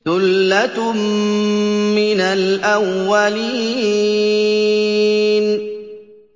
ثُلَّةٌ مِّنَ الْأَوَّلِينَ